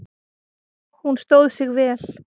Hún stóð sig vel.